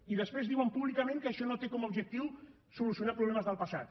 i després diuen públicament que això no té com a objectiu solucionar problemes del passat